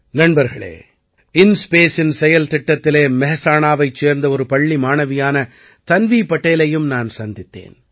நண்பர்களே InSpaceஇன் செயல்திட்டத்திலே மெஹசாணாவைச் சேர்ந்த ஒரு பள்ளி மாணவியான தன்வீ படேலையும் நான் சந்தித்தேன்